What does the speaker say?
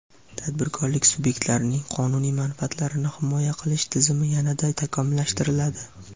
tadbirkorlik subyektlarining qonuniy manfaatlarini himoya qilish tizimi yana-da takomillashtiriladi.